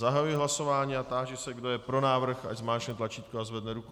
Zahajuji hlasování a táži se, kdo je pro návrh, ať zmáčkne tlačítko a zvedne ruku.